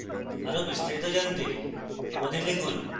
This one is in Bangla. আরো বিস্তারিত জানতে আমাদের লিখুন